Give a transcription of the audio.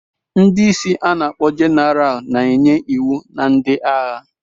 Ndị isi ana-akpo Jeneral na-enye iwu na ndị agha.